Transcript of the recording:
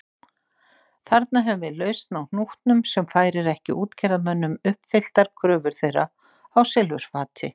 Þarna höfum við lausn á hnútnum sem færir ekki útgerðarmönnum uppfylltar kröfur þeirra á silfurfati.